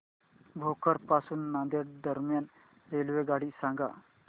भोकर पासून नांदेड दरम्यान रेल्वेगाडी सांगा